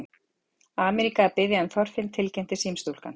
Ameríka að biðja um Þorfinn tilkynnti símastúlkan.